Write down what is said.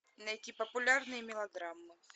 найти популярные мелодрамы